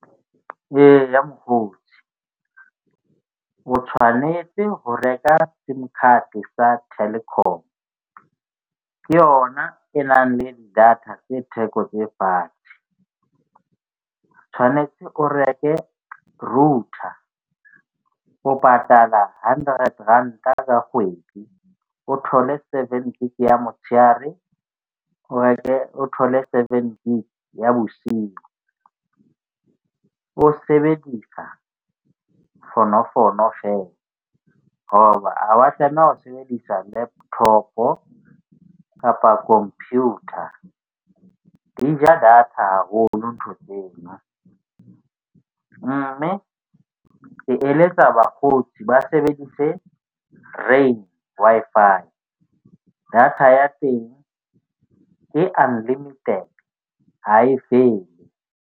Eya mokgotsi o tshwanetse ho reka sim card-e sa Telkom. Ke yona e nang le data e theko tse fatshe. O tshwanetse o reke router o patala hundred ranta ka kgwedi. O thole seven gig ya motshehare o reke o thole seven gig ya bosiu. O sebedisa fonofono fela hoba ha wa tlameha ho sebedisa laptop-o kapa computer di ja data haholo ntho tsena. Mme ke eletsa bakgotsi ba sebedise Rain Wi-Fi. Data ya teng ke unlimited. Ha e fele.